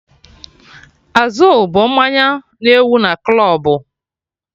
Azul bụ mmanya na-ewu na klọbụ